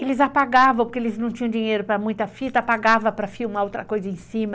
Eles apagavam, porque eles não tinham dinheiro para muita fita, apagavam para filmar outra coisa em cima.